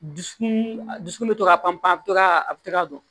Dusukun dusukun bɛ to ka pan pan a bɛ to ka a bɛ to ka don